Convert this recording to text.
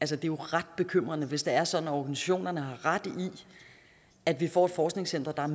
jo ret bekymrende hvis det er sådan at organisationerne har ret i at vi får et forskningscenter der er